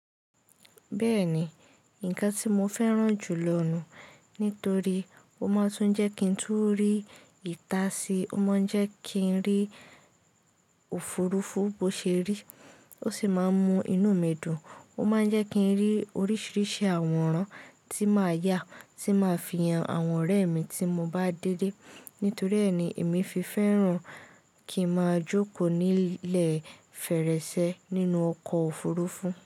Bẹ́ẹ̀ni, nǹkan tí mo fẹ́ràn jù lọ ní torí ó máa tún jẹ́ kí n tú rí ìta si, ó máa jẹ́ kí n rí òfurufú bó ṣe rí ó sì máa mú inú mi dùn. Ó máa jẹ́ kí n rí oríṣiríṣi àwòrán tí máa yá tí máa fi hàn àwọn ọ̀rẹ́ mi tí mo bá délé. Nítorí ẹ́ ni èmi fi fẹ́ràn kí a máa jókòó ní ilẹ̀ fèrèsé nínú ọkọ̀ òfurufú.